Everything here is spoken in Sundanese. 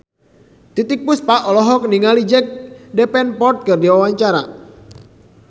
Titiek Puspa olohok ningali Jack Davenport keur diwawancara